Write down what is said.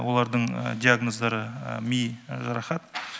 олардың диагноздары ми жарақат